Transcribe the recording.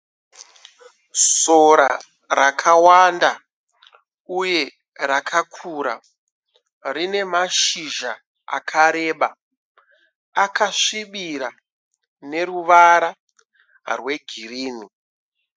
Sora rakawanda uye rakakura. Rine mashizha akareba akasvibira neruvara rwe girini.